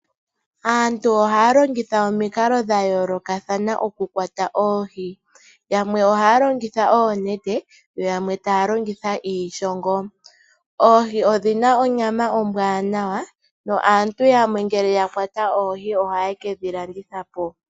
Aantu ohaya longitha omikalo dha yoolokathana okukwata oohi , yamwe ohaya longitha oonete yo yamwe taya longitha iishongo. Oohi odhi na onyama ombwaanawa naantu yamwe ngele ya kwata oohi ohaye kedhi landithapo.